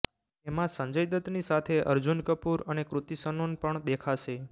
જેમાં સંજય દત્તની સાથે અર્જુન કપુર અને કૃતિ સનુન પણ દેખાશે